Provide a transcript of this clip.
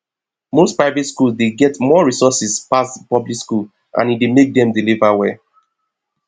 most private school dey get more resources pass public school and e dey make dem deliver well